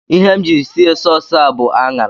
Ihe m ji sie sauce a bụ ạṅara